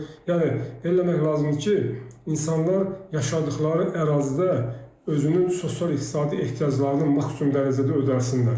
Yəni eləmək lazımdır ki, insanlar yaşadığı ərazidə özünün sosial-iqtisadi ehtiyaclarını maksimum dərəcədə ödəsinlər.